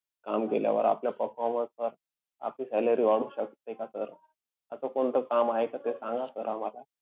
काम केल्यावर आपल्या performance वर आपली salary वाढू शकते का sir? असं कोणतं काम आहे का ते सांगा sir आम्हाला.